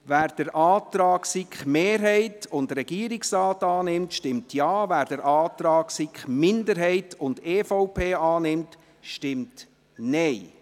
Wer den Antrag der SiK-Mehrheit und des Regierungsrates annimmt, stimmt Ja, wer den Antrag der SiK-Minderheit und der EVP annimmt, stimmt Nein.